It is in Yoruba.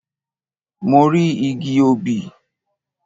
Mo rí igi obì.